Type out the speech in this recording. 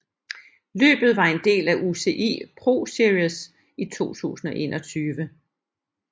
Løbet var en del af UCI ProSeries 2021